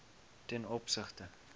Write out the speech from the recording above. ten opsigte